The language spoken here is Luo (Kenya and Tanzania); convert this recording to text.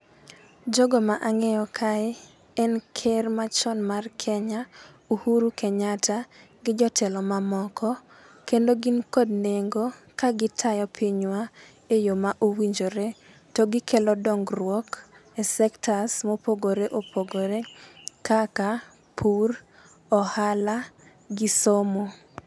Jogo ma ang'eyo kae en ker machon mar kenya Uhuru Kenyatta gi jotelo mamoko kendo gin kod nengo ka gitayo pinywa e yoo mowinjore . To gikelo dongruok e sectors mopogore opogore kaka pur, ohala gi somo.